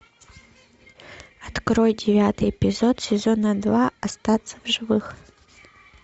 открой девятый эпизод сезона два остаться в живых